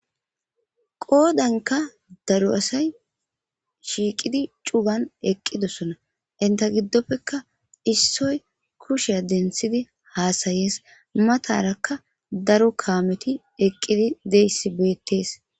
qoodanka daro asayi shiiqidi cugan eqqidosona .inta giddoppekka issoy kushshiya denssidi haasayees.matarakka daro kaameti eqqidi diyassi beettees.